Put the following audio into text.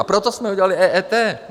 A proto jsme udělali EET.